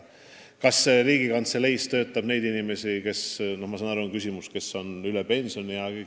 Kas Riigikantseleis töötab inimesi – ma saan aru, et küsimuse sisu oli ka see –, kes on juba pensionieas?